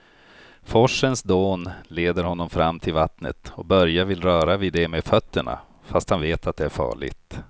Forsens dån leder honom fram till vattnet och Börje vill röra vid det med fötterna, fast han vet att det är farligt.